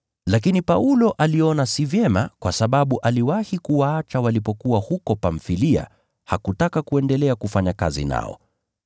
Lakini Paulo aliona si vyema kwa sababu aliwahi kuwaacha walipokuwa huko Pamfilia, hakutaka kuendelea kufanya kazi naye.